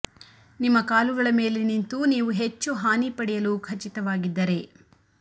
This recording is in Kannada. ನಿಮ್ಮ ಕಾಲುಗಳ ಮೇಲೆ ನಿಂತು ನೀವು ಹೆಚ್ಚು ಹಾನಿ ಪಡೆಯಲು ಖಚಿತವಾಗಿದ್ದರೆ